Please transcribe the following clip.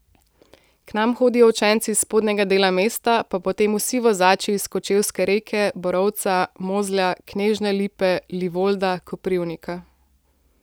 K nam hodijo učenci iz spodnjega dela mesta, pa potem vsi vozači iz Kočevske Reke, Borovca, Mozlja, Knežje Lipe, Livolda, Koprivnika.